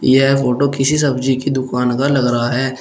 यह फोटो किसी सब्जी की दुकान का लग रहा है।